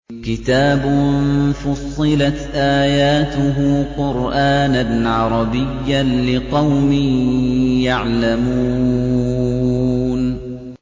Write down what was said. كِتَابٌ فُصِّلَتْ آيَاتُهُ قُرْآنًا عَرَبِيًّا لِّقَوْمٍ يَعْلَمُونَ